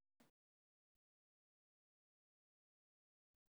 Waa maxay calaamadaha lagu garto granuloma annulare?